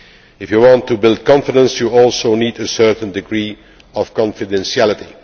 If you want to build confidence you also need a certain degree of confidentiality.